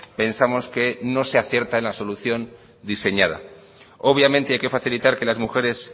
pensamos que no se acierta en la solución diseñada obviamente hay que facilitar que las mujeres